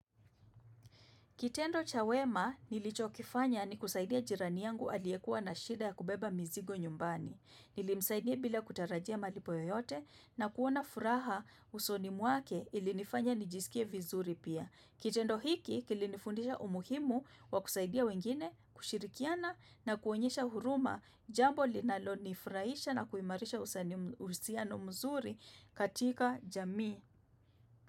Kitendo cha wema nilichokifanya ni kusaidia jirani yangu aliekua na shida ya kubeba mzigo nyumbani. Nilimsaidia bila kutarajia malipo yoyote na kuona furaha usoni mwake ilinifanya nijisikie vizuri pia. Kitendo hiki, kilinifundisha umuhimu wa kusaidia wengine kushirikiana na kuonyesha huruma jambo linalonifurahisha na kuimarisha uhusiano mzuri katika jamii.